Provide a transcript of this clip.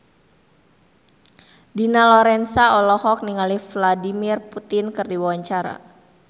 Dina Lorenza olohok ningali Vladimir Putin keur diwawancara